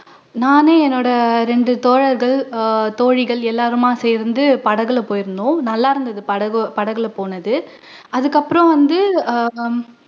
நானு என்னோட ரெண்டு தோழர்கள் அஹ் தோழிகள் எல்லாருமா சேர்ந்து படகுல போயிருந்தோம் நல்லா இருந்துது படகி படகுல போனது அதுக்கு அப்பறம் வந்து அஹ்